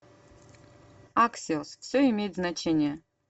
аксиос все имеет значение